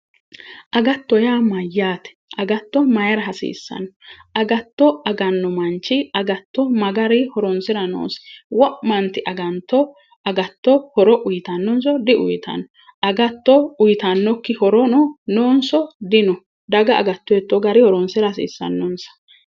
Agatto yaa Mayyaate? agatto mayra hasiisano? agatto ananno manichi agatto ma garii horonisira noosi? wo'manit agatto horo uyitannoniso diuyitanno? agatto uyitannoki horo nooniso dino daga agatto hitoo garinnii horonisira hasiisannonisa?